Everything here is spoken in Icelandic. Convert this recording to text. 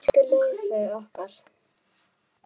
Elsku Laufey okkar.